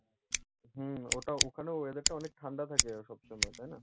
হুম ওটা ওখানে weather টা অনেক ঠান্ডা থাকে সবসময়, তাই না?